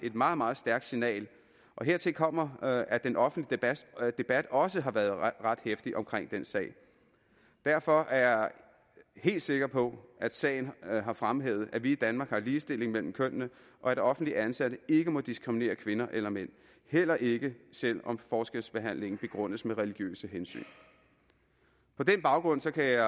et meget meget stærkt signal hertil kommer at den offentlige debat også har været ret heftig omkring den sag derfor er jeg helt sikker på at sagen har fremhævet at vi i danmark har ligestilling mellem kønnene og at offentligt ansatte ikke må diskriminere kvinder eller mænd heller ikke selv om forskelsbehandlingen begrundes med religiøse hensyn på den baggrund kan jeg